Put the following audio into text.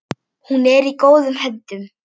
Hún er í góðum höndum.